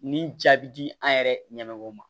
Ni jaabi di an yɛrɛ ɲɛ mago ma